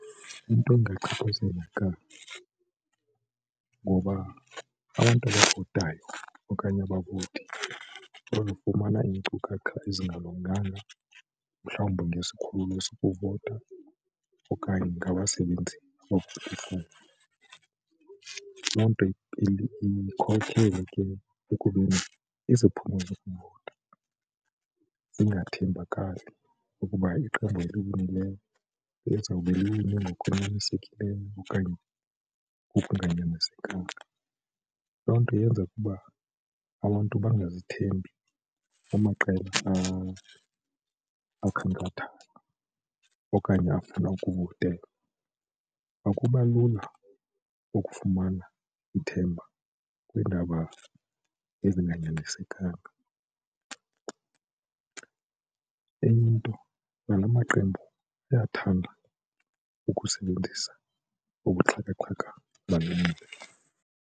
Into engachaphazeleka ngoba abantu abavotayo okanye abakude bazofumana iinkcukacha ezingalunganga mhlawumbi ngesikhululo sokuvota okanye ngabasebenzi . Loo nto ikhokhele ke ekubeni iziphumo zokuvota zingathembakali ukuba iqembu elilungileyo lizawube line ngokunyanisekileyo okanye ngokunganyanisekanga. Loo nto yenza ukuba abantu bangazithembi amaqela akhankathayo okanye afuna ukuvotelwa. Akuba lula ukufumana ithemba kweendaba ezinganyanisekanga, enye into nala maqembu ayathanda ukusebenzisa ubuxhakaxhaka bale mihla.